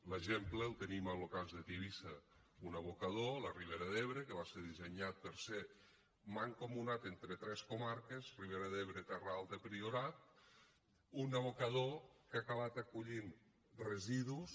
l’exemple el tenim en lo cas de tivissa un abocador a la ribera d’ebre que va ser dissenyat per a ser mancomunat entre tres comarques ribera d’ebre terra alta priorat un abocador que ha acabat acollint residus